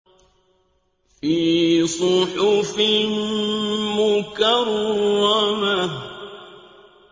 فِي صُحُفٍ مُّكَرَّمَةٍ